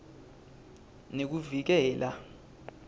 nekuvikela